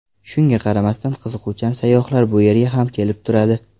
Shunga qaramasdan, qiziquvchan sayyohlar bu yerga ham kelib turadi.